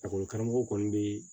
karamɔgɔw kɔni be